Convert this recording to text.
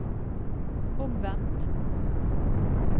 omvendt